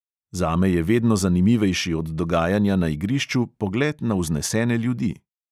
Zame je vedno zanimivejši od dogajanja na igrišču pogled na vznesene ljudi.